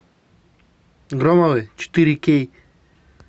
громовы четыре кей